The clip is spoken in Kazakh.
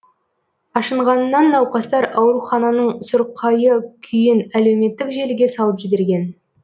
ашынғанынан науқастар аурухананың сұрқайы күйін әлеуметтік желіге салып жіберген